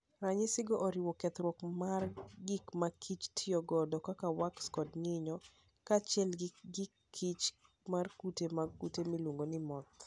Ranyisigo oriwo: kethruok mar gik ma kich tiyogo kaka wax kod nyinyo, kaachiel gi kich mar kute mag kute miluongo ni moth.